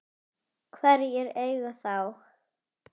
Hverjir eiga þá?